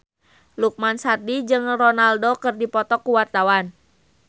Lukman Sardi jeung Ronaldo keur dipoto ku wartawan